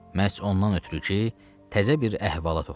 Məhz ondan ötrü ki, təzə bir əhvalat oxuyum.